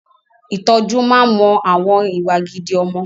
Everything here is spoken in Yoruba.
Ìtọ́jú máa ń mọ àwọn ìwà gidi ọmọ